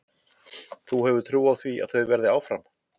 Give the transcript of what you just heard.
Þú hefur trú á því að þau verði áfram?